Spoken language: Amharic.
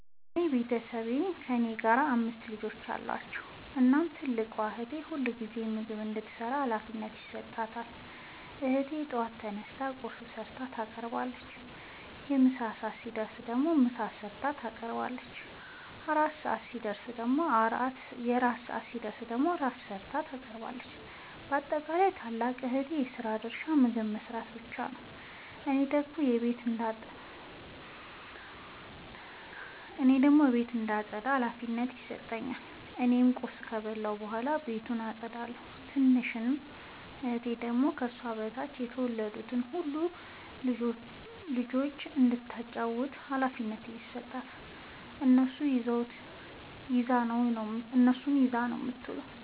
የኔ ቤተሠቦይ ከእኔ ጋር አምስት ልጆች አሏቸዉ። እናም ትልቋን እህቴ ሁልጊዜም ምግብ እንድትሰራ ሀላፊነት ይሠጣታል። እህቴም በጠዋት ተነስታ ቁርስ ሠርታ ታቀርባለች። የምሣ ሰዓት ሲደርስም ምሳ ሠርታ ታቀርባለች። የእራት ሰዓት ሲደርስም ራት ሠርታ ታቀርባለች። ባጠቃለይ የትልቋ እህቴ የስራ ድርሻ ምግብ መስራት ብቻ ነዉ። እኔን ደግሞ ቤት እንዳጠዳ ሀላፊነት ይሠጠኛል። እኔም ቁርስ ከበላሁ በኃላ ቤቱን አጠዳለሁ። ትንሿ እህቴ ደግሞ ከሷ በታች የተወለዱትን ሁለት ልጆይ እንዳታጫዉታቸዉ ሀላፊነት ስለተሠጣት እነሱን ይዛ ነዉ የምትዉለዉ።